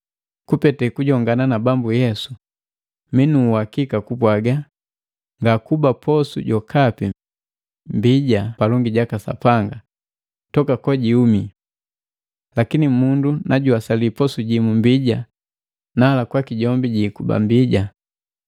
Kupete kujongana na Bambu Yesu, minu uwakika kupwaga ngakuba posu jokapi mbija palongi jaka Sapanga toka kojuumi. Lakini mundu na juwasali posu jimu mbija, nala kwaki jombi jiikuba mbija.